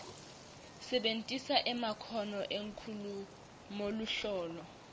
sebentisa emakhono enkhulumoluhlolo